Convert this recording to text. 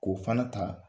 K'o fana ta